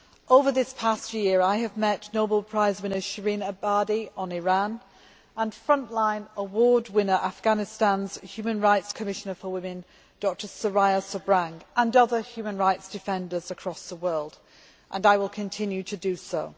Over this past year I have met Nobel Prize winner Shirin Ebadi on Iran and frontline award winner, Afghanistan's human rights commissioner for women Dr Soria Sabhrang, and other human rights defenders across the world and I will continue to do so.